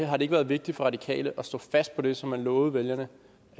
har det ikke været vigtigt for radikale at stå fast på det som man lovede vælgerne